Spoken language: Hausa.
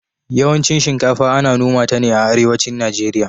yawancin shinkafa Ana noma ta ne a arewacin nigeria